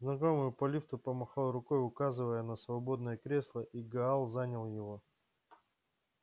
знакомый по лифту помахал рукой указывая на свободное кресло и гаал занял его